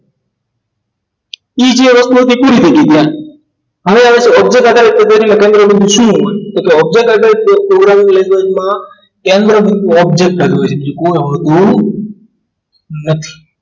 Easy રીતે કેવી રીતે હવે આવે છે object આધારિત કે તેનું કેન્દ્ર બિંદુ શું હોય તો કે object આધારિત programming language મા કેન્દ્રબિંદ object હોય છે બીજું કોઈ હોતું નથી